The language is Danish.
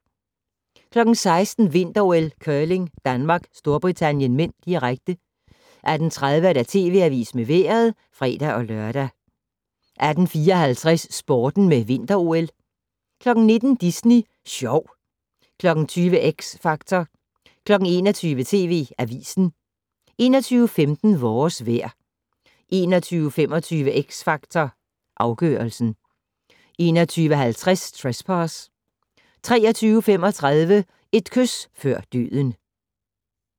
16:00: Vinter-OL: Curling, Danmark - Storbritannien (m), direkte 18:30: TV Avisen med Vejret (fre-lør) 18:54: Sporten med Vinter-OL 19:00: Disney Sjov 20:00: X Factor 21:00: TV Avisen 21:15: Vores vejr 21:25: X Factor Afgørelsen 21:50: Trespass 23:35: Et kys før døden